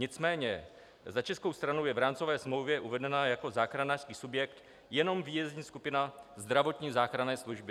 Nicméně za českou stranu je v rámcové smlouvě uvedena jako záchranářský subjekt jenom výjezdní skupina zdravotní záchranné služby.